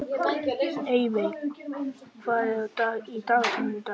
Eyveig, hvað er á dagatalinu í dag?